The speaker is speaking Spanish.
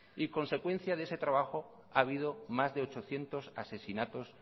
y consecuencia de ese trabajo ha habido más de ochocientos asesinatos